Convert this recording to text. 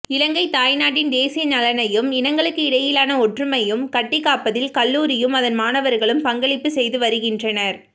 இலங்கைத் தாய் நாட்டின் தேசிய நலனையும் இனங்களுக்கிடையிலான ஒற்றுமையையும் கட்டிக் காப்பதில் கல்லூரியும் அதன் மாணவர்களும் பங்களிப்பு செய்து வருகின்றனர்